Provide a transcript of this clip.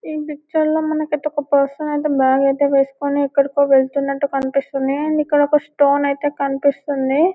ఈ పిక్చర్ లో మనకి ఒక పర్సన్ అయితే బాగ్ అయితే వేసుకుని ఎక్కడికో వెళ్తున్నట్టు కనిపిస్తోంది అండ్ ఇక్కడ ఒక స్టోన్ అయితే కనిపిస్తుంది .